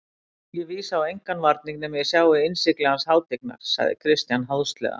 Ég vísa á engan varning nema ég sjái innsigli hans hátignar, sagði Christian háðslega.